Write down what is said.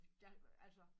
Jeg altså